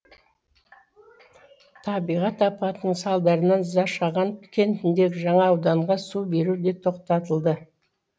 табиғат апатының салдарынан зашаған кентіндегі жаңа ауданға су беру де тоқтатылды